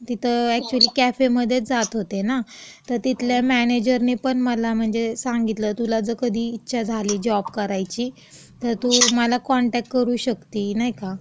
तिथं अॅकच्युली कॅफेमध्येच जात होते ना, तर तिथल्या मॅनेजरनी पण मला म्हणजे सांगितलं, तुला जर कधी इच्छा झाली जॉब करायची, तर तू मला कॉनटॅक्ट करू शकती, नाही का.